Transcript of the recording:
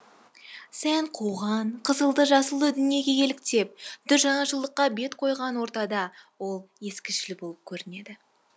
сән қуған қызылды жасылды дүниеге еліктеп дүр жаңашылдыққа бет қойған ортада ол ескішіл болып көрінеді